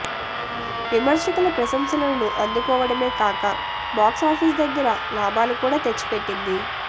విమర్శకుల ప్రశంసలను అందుకోవడమేకాక బాక్స్ ఆఫీస్ దగ్గర లాభాలు కూడా తెచ్చిపెట్టింది